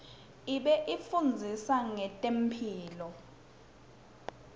ibifundzisa nqetemphilo